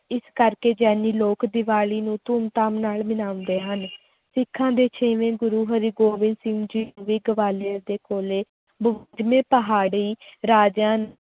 ਇਸ ਕਰਕੇ ਜੈਨੀ ਲੋਕ ਦੀਵਾਲੀ ਨੂੰ ਧੂਮ ਧਾਮ ਨਾਲ ਮਨਾਉਂਦੇ ਹਨ ਸਿੱਖਾਂ ਦੇ ਛੇਵੇਂ ਗੁਰੂ ਹਰਿਗੋਬਿੰਦ ਸਿੰਘ ਜੀ ਨੂੰ ਵੀ ਗਵਾਲੀਅਰ ਦੇ ਕੋਲੇ ਪਹਾੜੀ ਰਾਜਿਆਂ